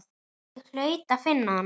Ég hlaut að finna hana.